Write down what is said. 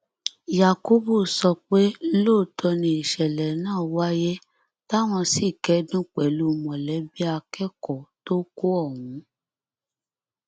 yakubu sọ pé lóòótọ ni ìṣẹlẹ náà wáyé táwọn sì ti kẹdùn pẹlú mọlẹbí akẹkọọ tó kù ọhún